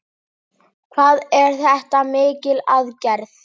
Hvað er þetta mikil aðgerð?